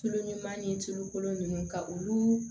Tulu ɲuman ni tulu kolon ninnu ka olu